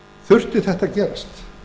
þurfti þetta að gerast